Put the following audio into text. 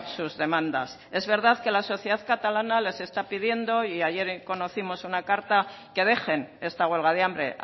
sus demandas es verdad que la sociedad catalana les está pidiendo y ayer conocimos una carta que dejen esta huelga de hambre